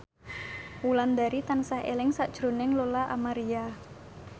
Wulandari tansah eling sakjroning Lola Amaria